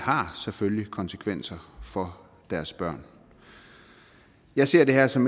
selvfølgelig har konsekvenser for deres børn jeg ser det her som